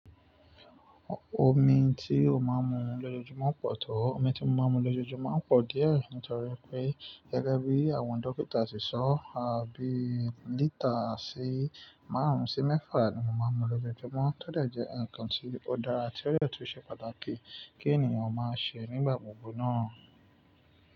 Omi tí ó máa ń mu lójoojúmọ́ pọ̀ tó. Omi tí mo máa ń mu lójoojúmọ́ máa ń pọ̀ díẹ̀, nítorí pé gẹ́gẹ́ bí àwọn dókítà ṣe sọ, àbí lítà sí márùn-ún sí mẹ́fà ni mo máa ń mu lójoojúmọ́, tó dẹ̀ jẹ́ ǹkan tí ó dára àti ọ̀rẹ́ tí ó ṣe pàtàkì kí ènìyàn máa ṣe nígbà gbogbo náà.